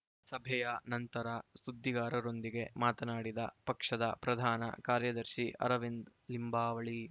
ಸಭೆಯ ನಂತರ ಸುದ್ದಿಗಾರರೊಂದಿಗೆ ಮಾತನಾಡಿದ ಪಕ್ಷದ ಪ್ರಧಾನ ಕಾರ್ಯದರ್ಶಿ ಅರವಿಂದ್‌ ಲಿಂಬಾವಳಿ